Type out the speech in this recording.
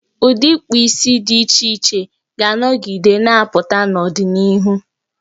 Ụdị ịkpụ isi dị iche iche ga-anọgide na-apụta n'ọdịnihu.